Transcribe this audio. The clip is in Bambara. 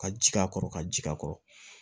Ka ji k'a kɔrɔ ka ji a kɔrɔ